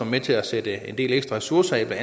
med til at sætte en del ekstra ressourcer af